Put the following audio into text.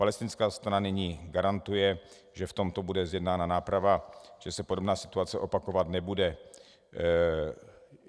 Palestinská strana nyní garantuje, že v tomto bude zjednána náprava, že se podobná situace opakovat nebude.